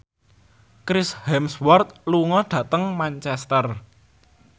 Chris Hemsworth lunga dhateng Manchester